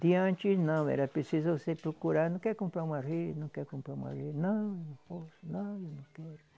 Tinha antes não, era preciso você procurar, não quer comprar uma rede, não quer comprar uma rede, não, não posso, não, eu não quero.